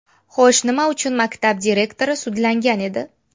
Xo‘sh, nima uchun maktab direktori sudlangan edi?